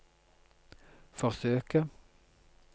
forsøke